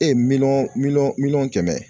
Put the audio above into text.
E ye miliyɔn miliyɔn miliyɔn kɛmɛ